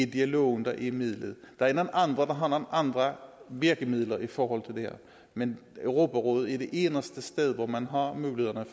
dialogen der er midlet der er nogle andre der har nogle andre virkemidler i forhold til det her men europarådet er det eneste sted hvor man har muligheden